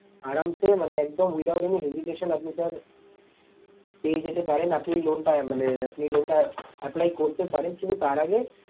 মানে একদম without any hesitation আপনি sir পেয়ে যেতে পারেন আপনি loan টা মানে আপনি loan টা apply করতে পারেন কিন্তু তার আগে